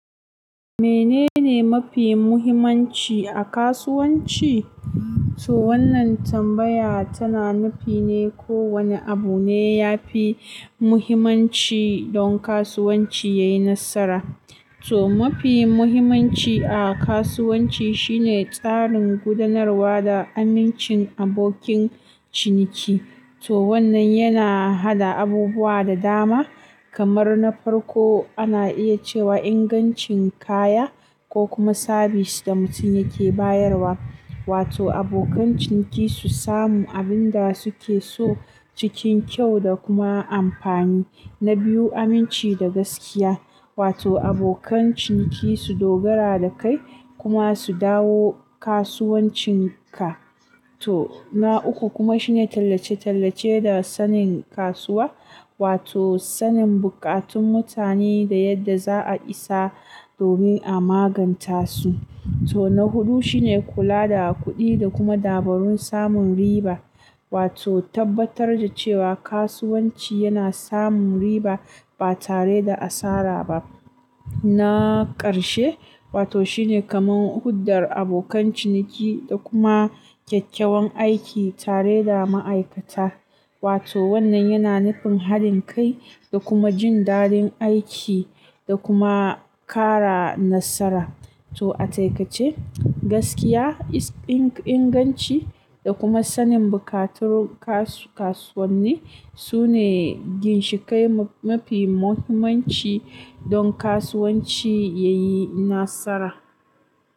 Menene mafi muhimmanci a kasuwanci? To wannan tambaya tana nufine ko wane abune yafi muhimmanci don kasuwanci yayi nasara. To mafi muhimmanci a kasuwanci shine tsarin gudanarwa da amincin abokin ciniki. To wannan yana hada abubuwa da dama, kamar na farko ana iya cewa ingancin kaya ko kuma sabis da mutum yake bayarwa. Wato abokan ciniki su samu abinda suke so cikin kyau da kuma amfani. Na biyu aminci da gaskiya, wato abokan ciniki su dogara dakai kuma su dawo kasuwancin ka. To na uku kuma shine tallace-tallace da sanin kasuwa, wato sanin buƙatun mutane da yadda za a isa domin a maganta su. To na hudu shine kula da kuɗi da kuma dabarun samun riba, wato tabbatar da cewa kasuwanci yana samun riba ba tare da asara ba. Na ƙarshe, wato shine kaman huddar abokan ciniki da kuma kyakkyawan aiki tareda ma'aikata. Wato wannan yana nufin halin kai da kuma jin daɗin aiki da kuma ƙara nasara. To a taƙaice gaskiya, inganci da kuma sanin buƙatun kasuwanni sune ginshiƙai mafi muhimmanci don kasuwanci yayi nasara.